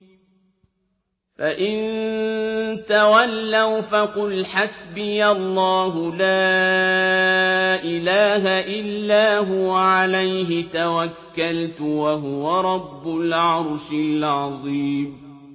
فَإِن تَوَلَّوْا فَقُلْ حَسْبِيَ اللَّهُ لَا إِلَٰهَ إِلَّا هُوَ ۖ عَلَيْهِ تَوَكَّلْتُ ۖ وَهُوَ رَبُّ الْعَرْشِ الْعَظِيمِ